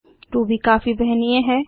Ruby काफी वहनीय है